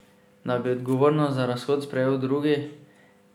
Da bi odgovornost za razhod sprejel drugi.